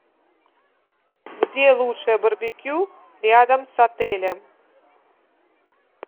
где лучшее барбекю рядом с отелем